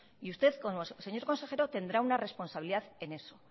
y usted como consejero tendrá una responsabilidad en eso